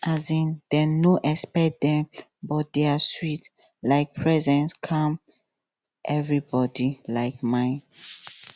um dem no expect dem but dia sweet um presence calm everybody um mind